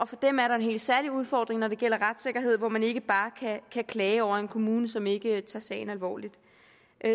for dem er der en helt særlig udfordring når det gælder retssikkerhed hvor man ikke bare kan klage over en kommune som ikke tager sagen alvorligt